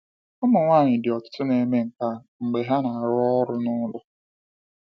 Ụmụ nwanyị di ọtụtụ na-eme nke a mgbe ha na-arụ ọrụ n’ụlọ.